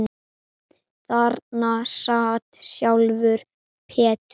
Þarna sat sjálfur Peter